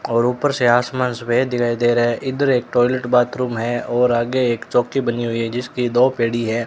और ऊपर से आसमान सफेद दिखाई दे रहा है इधर एक टॉयलेट बाथरूम है और आगे एक चौकी बनी हुई है जिसकी दो पीढ़ी है।